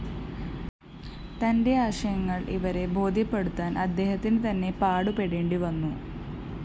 തന്റെ ആശയങ്ങള്‍ ഇവരെ ബോധ്യപ്പെടുത്താന്‍ അദേഹത്തിന് നന്നേ പാടുപെടേണ്ടിവന്നു